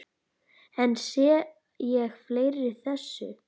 En sé ég eftir þessu?